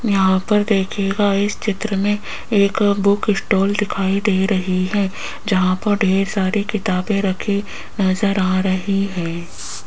यहां पर देखिएगा इस चित्र में एक बुक स्टॉल दिखाई दे रही है जहां पर ढेर सारी किताबें रखी नजर आ रही है।